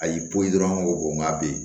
A y'i pu dɔrɔn ko n ga be yen